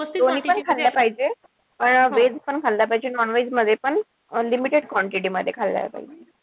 दोन्ही किती खाल्लं पाहिजे. veg मध्ये पण limited quantity मध्ये खाल्लं पाहिजे.